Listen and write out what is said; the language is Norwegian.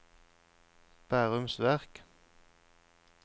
Bærums Verk